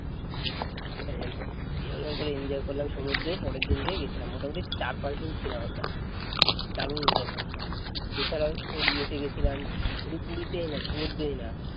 দিয়ে ওই রকম করে enjoy করলাম সমুদ্রে পরের দিনকেই গেছিলাম মোটামুটি চার পাঁচ দিন ছিলাম আমরা দারুণ মজা করেছিলাম, এ ছাড়াও তোর ইয়েতে গিয়েছিলাম শুধু পুরী তে না সমুদ্রে না